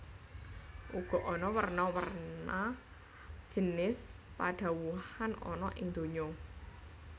Uga ana werna werna jinis padhawuhan ana ing donya